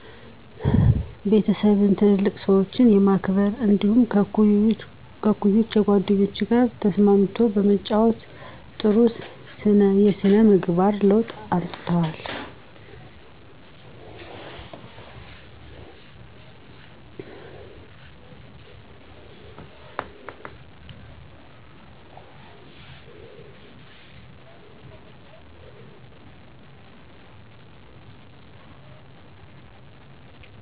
ቤተሰብን፣ ትላልቅ ሰዎችን የማክበር እንዲደሁም ከእኩዮቻቸው ጓደኞቻቸው ጋር ተስማምው የመጫወት ጥሩ ስነ የስነ ምግባር ለውጥ አምጥተዋል